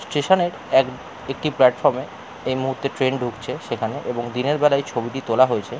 স্টেশনের এক একটি প্লাটফর্মে এই মুহূর্তে ট্রেন ঢুকছে সেখানে এবং দিনের বেলায় ছবিটি তোলা হয়েছে।